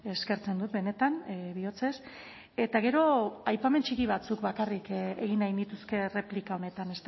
eskertzen dut benetan bihotzez eta gero aipamen txiki batzuk bakarrik egin nahi nituzke erreplika honetan